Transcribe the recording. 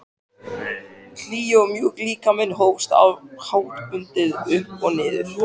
Hlýi og mjúki líkaminn hófst háttbundið upp og niður.